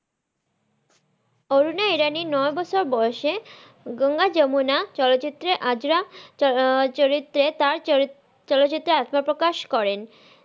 অরুনা ইরানি নয় বছর বয়সে গঙ্গা যমুনা চলচিত্রে আয্রা আহ চরিত্রে তার চর- চলচিত্রে আত্মপ্রকাশ করেন।